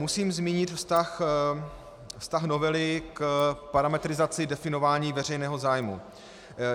Musím zmínit vztah novely k parametrizaci definování veřejného zájmu.